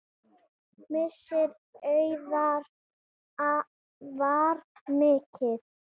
Missir Auðar var mikill.